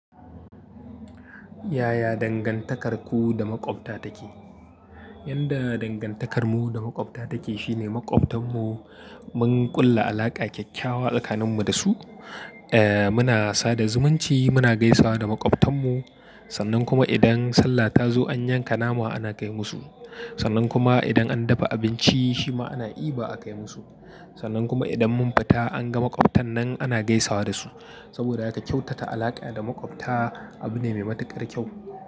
Yaya dangantakarku da maƙwabta take? Yanda dangantakarmu da maƙwabta take shine maƙwabtan mu mun ƙulla alaƙa kyakkyawa tsakanin mu da su. Eh, muna sada zumunci, muna gaisawa da maƙwabtan mu. Sannan kuma idan Sallah ta zo an yanka nama ana kai musu. Sannan kuma idan an dafa abinci shi ma ana diba a kai musu. Sannan kuma idan mun fita an ga maƙwabtan nan ana gaisawa da su. Saboda haka kyautata alaƙa da maƙwabta abu ne mai matuƙar kyau.